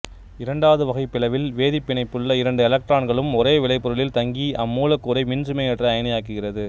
இரண்டாவது வகை பிளவில் வேதிப்பிணைப்பிலுள்ள இரண்டு எலக்ட்ரான்களும் ஒரே விளைபொருளில் தங்கி அம்மூலக்கூறை மின்சுமையேற்ற அயனியாக்குகிறது